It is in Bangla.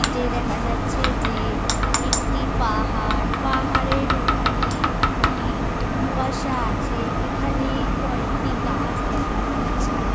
দেখা যাচ্ছে যে একটি পাহাড় পাহাড়ের ওখানে কি কুয়াশা আছে এখানে কয়েকটি গাছ দেখা যাচ্ছে ।